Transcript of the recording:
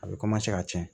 A bɛ ka cɛn